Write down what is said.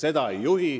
Seda ta ei tee.